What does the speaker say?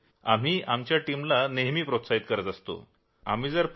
आम्ही आमच्या टीमला नेहमी प्रोत्साहन देत असतो की घाबरण्याची काही गरज नाही